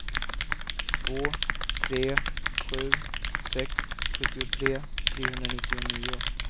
två tre sju sex sjuttiotre trehundranittionio